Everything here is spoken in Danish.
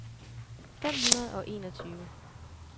fem hundrede og enogtyve